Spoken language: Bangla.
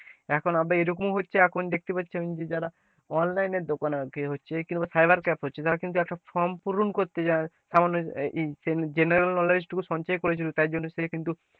এখন আবার এরকম হচ্ছে দেখতে পাচ্ছি যারা online এর দোকান cyber cafe হচ্ছে তারা কিন্তু একটা form পুরন করতে, সামান্য general knowledge টুকু সঞ্চয় করেছিল তাই জন্য সে কিন্তু,